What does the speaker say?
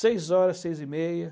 Seis horas, seis e meia.